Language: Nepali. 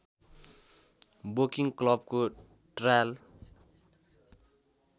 वोकिङ क्लबको ट्रायल